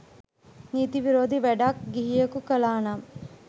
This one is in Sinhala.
නීති විරෝධී වැඩක් ගිහියකු කළා නම්